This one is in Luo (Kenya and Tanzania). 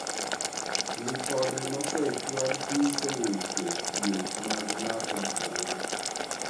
Lipode mosechwal nyiso weche thieth mag ng'ato ka ng'ato